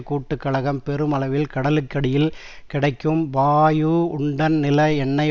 கூட்டுக்கழகம் பெருமளவில் கடலுக்கடியில் கிடைக்கும் பாயுஉன்டன் நில எண்ணெய்